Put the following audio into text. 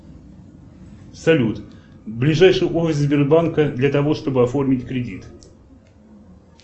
салют ближайший офис сбербанка для того чтобы оформить кредит